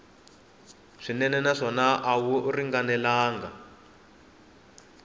swinene naswona a wu ringanelangi